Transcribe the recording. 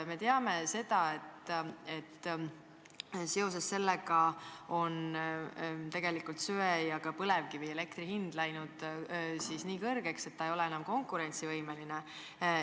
Me teame, et seoses sellega on söe- ja ka põlevkivielektri hind läinud nii kõrgeks, et see ei ole enam konkurentsivõimeline.